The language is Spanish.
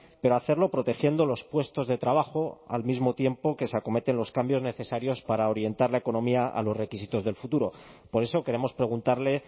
pero hacerlo protegiendo los puestos de trabajo al mismo tiempo que se acometen los cambios necesarios para orientar la economía a los requisitos del futuro por eso queremos preguntarle